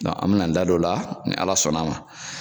an bɛn'an da don o la ni Ala sɔnna a ma.